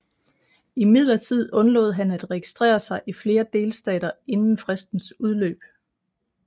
Imidlertid undlod han at registrere sig i flere delstater inden fristens udløb